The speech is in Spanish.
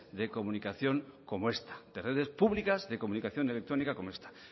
de comunicación como esta de redes públicas de comunicación electrónica como esta